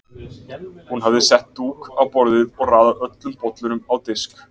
Hún hafði sett dúk á borðið og raðað öllum bollunum á disk.